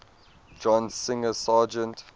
john singer sargent